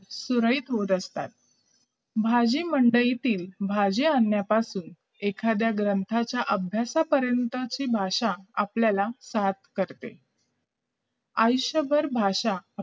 सुरळीत होत असतात भाजी मंडळीतली भाजी आणल्यापासून एखाद्या ग्रंथाच्या आभ्यासापर्यंत ची भाषा आपल्याला साथ करते आयुषभर भाषा